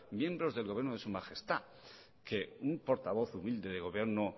miembros del gobierno de su majestad que un portavoz humilde de gobierno